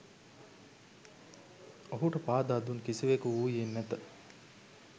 ඔහුට පාදා දුන් කිසිවෙකු වුයේ නැත.